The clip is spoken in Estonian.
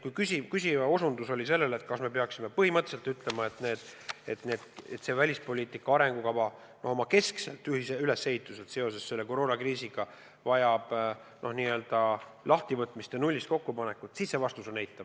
Kui küsija osutas sellele, et vahest me peaksime põhimõtteliselt ütlema, et see välispoliitika arengukava oma keskselt ülesehituselt vajab seoses koroonakriisiga n-ö lahtivõtmist ja nullist kokkupanekut, siis see vastus on eitav.